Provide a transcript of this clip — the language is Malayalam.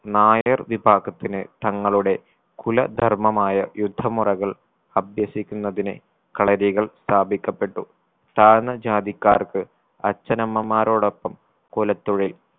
നായർ വിഭാഗത്തിന് തങ്ങളുടെ കുലധർമ്മമായ യുദ്ധ മുറകൾ അഭ്യസിക്കുന്നതിന് കളരികൾ സ്ഥാപിക്കപ്പെട്ടു താഴ്ന്ന ജാതിക്കാർക്ക് അച്ഛനമ്മമാരോടൊപ്പം കുലത്തൊഴിൽ